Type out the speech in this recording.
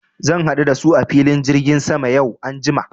Zan haɗu da su a filin jirgin sama yau anjima.